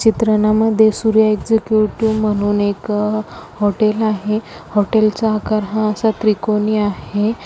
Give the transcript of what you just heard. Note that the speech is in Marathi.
चित्रांमध्ये सूर्या एक्झिक्युटिव्ह म्हणून एक हॉटेल आहे हॉटेल चा आकार हा असा त्रिकोणी आहे.